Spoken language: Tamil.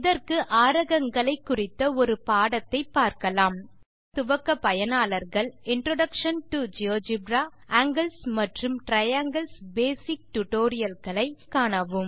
இதற்கு ஆரகங்களைக் குறித்த ஒரு பாடத்தை பார்க்கலாம் ஜியோஜெப்ரா துவக்கப்பயனாளர்கள் இன்ட்ரோடக்ஷன் டோ ஜியோஜெப்ரா ஆங்கில்ஸ் மற்றும் டிரையாங்கில்ஸ் பேசிக்ஸ் டுடோரியல்களை spoken tutorialஆர்க் தளத்தில் காணவும்